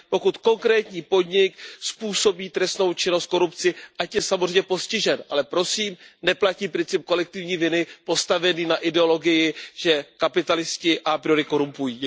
Pokud konkrétní podnik způsobí trestnou činnost, korupci, ať je samozřejmě postižen, ale prosím, neplatí princip kolektivní viny postavený na ideologii, že kapitalisté a priori korumpují.